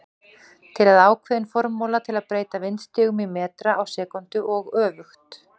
Til er ákveðin formúla til að breyta vindstigum í metra á sekúndu og öfugt.